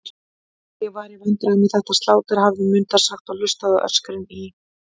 Ég var í vandræðum með þetta slátur, hafði Munda sagt og hlustað á öskrin í